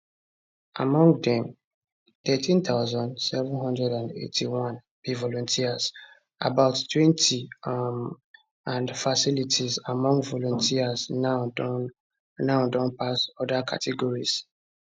among dem 13781 be volunteers abouttwenty[um] and fatalities among volunteers now don now don pass oda categories